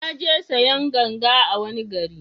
Na je sayan ganga a wani gari